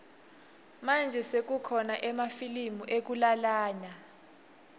manje sekukhona emafilimu ekulalana